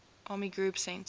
army group centre